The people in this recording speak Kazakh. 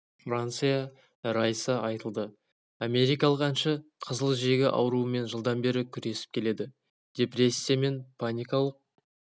франсия райса айтылды америкалық әнші қызыл жегі ауруымен жылдан бері күресіп келеді депрессия мен паникалық